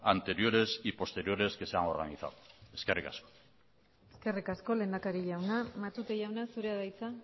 anteriores y posteriores que se han organizado eskerrik asko eskerrik asko lehendakari jauna matute jauna zurea da hitza